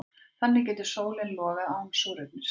Þannig getur sólin logað án súrefnis.